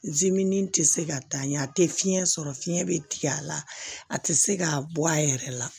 tɛ se ka taa ɲɛ a tɛ fiɲɛ sɔrɔ fiɲɛ bɛ tigɛ a la a tɛ se k'a bɔ a yɛrɛ la